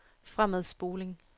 fremadspoling